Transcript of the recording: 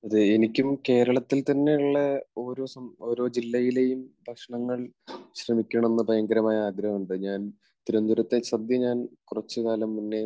അതെ, എനിക്കും കേരളത്തിൽ തന്നെയുള്ള ഓരോ സം, ജില്ലയിലെയും ഭക്ഷണങ്ങൾ ശ്രമിക്കണമെന്ന് ഭയങ്കരമായ ആഗ്രഹമുണ്ട്. ഞാൻ തിരുവനന്തപുരത്തെ സദ്യ ഞാൻ കുറച്ചു കാലം മുന്നേ